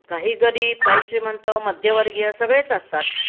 काही गरीब काही श्रीमंत मध्यवर्गीय सगळेच असतात